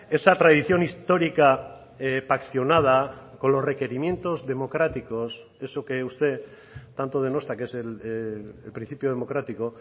esa tradición histórica paccionada con los requerimientos democráticos eso que usted tanto denosta que es el principio democrático